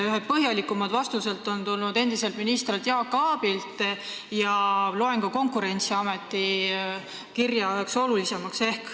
Ühed põhjalikumad vastused tulid endiselt ministrilt Jaak Aabilt ja ma loen ka Konkurentsiameti kirja üheks olulisemaks.